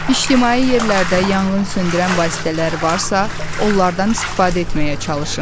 İctimai yerlərdə yanğın söndürən vasitələr varsa, onlardan istifadə etməyə çalışın.